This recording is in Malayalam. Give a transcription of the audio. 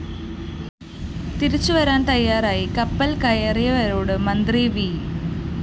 തിരിച്ചുവരാന്‍ തയ്യാറായി കപ്പല്‍ കയറിയവരോട് മന്ത്രി വി